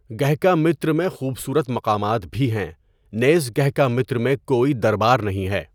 گهکامیتر میں خوبصورت مقامات بھی ہیں، نیز گهکامیتر میں کوئی دربار نہیں ہے.